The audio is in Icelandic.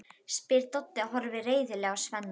spyr Doddi og horfir reiðilega á Svenna.